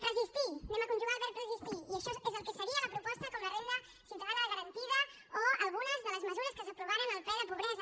resistir anem a conjugar el verb resistir i això és el que seria la proposta com la renda ciutadana garantida o algunes de les mesures que s’aprovaren al ple de pobresa